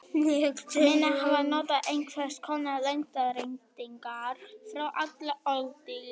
Menn hafa notað einhvers konar lengdareiningar frá alda öðli.